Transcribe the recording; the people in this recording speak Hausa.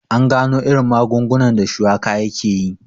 An gano irin magungunan da shuwaka yakeyi